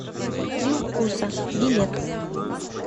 три вкуса билет